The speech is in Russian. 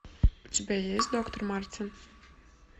у тебя есть доктор мартин